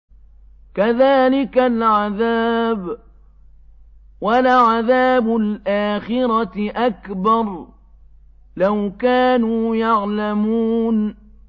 كَذَٰلِكَ الْعَذَابُ ۖ وَلَعَذَابُ الْآخِرَةِ أَكْبَرُ ۚ لَوْ كَانُوا يَعْلَمُونَ